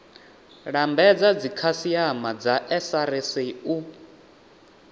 lambedza dzikhasiama dza srsa u